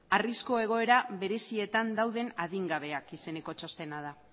arrisku egoera berezietan dauden adingabeak izeneko txostena da